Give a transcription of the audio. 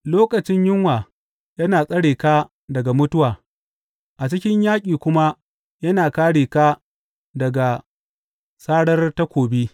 Lokacin yunwa yana tsare ka daga mutuwa, a cikin yaƙi kuma yana kāre ka daga sarar takobi.